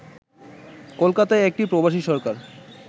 কলকাতায় একটি প্রবাসী সরকার